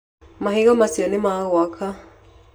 Mahiga macio nĩ ma gwaka.